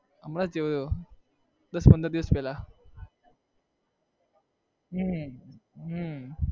હમણાં જ જોયું દસ-પંદર દિવસ પહેલા હમ હમ